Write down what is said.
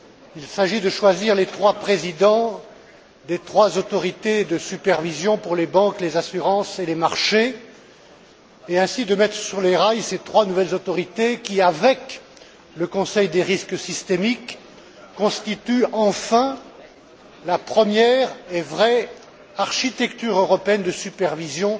Il s'agit de choisir les présidents des trois autorités de supervision pour les banques, les assurances et les marchés, et de mettre ainsi sur les rails ces trois nouvelles autorités qui, avec le Conseil du risque systémique, constituent enfin la première véritable architecture européenne de supervision